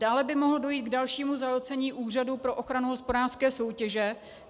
Dále by mohlo dojít k dalšímu zahlcení Úřadu po ochranu hospodářské soutěže.